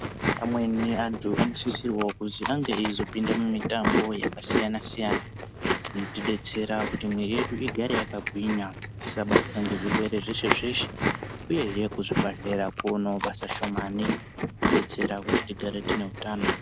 Amweni antu anosisira kuti anenge eizopinda mumitambo yakasiyana siyana kuti detsera kuti muiri yedu igare yakagwinya isabatwa ngezvirwere zveshe zveshe uyezve kuzvibhehlera kune basa shomane kuti tigare time utano.